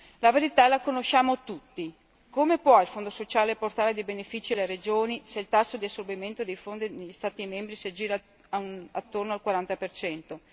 La verità la conosciamo tutti come può il Fondo sociale portare dei benefici alle regioni se il tasso di assorbimento dei fondi negli Stati membri si aggira attorno al 40 percento?